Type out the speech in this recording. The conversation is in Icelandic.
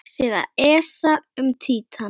Vefsíða ESA um Títan.